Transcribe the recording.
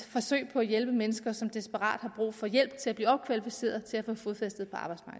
på at hjælpe mennesker som desperat har brug for hjælp til at blive opkvalificeret til at få fodfæste